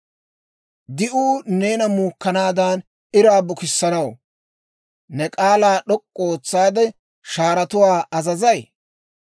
«Di'uu neena muukkanaadan iraa bukissanaw, ne k'aalaa d'ok'k'u ootsaade, shaaratuwaa azazayi?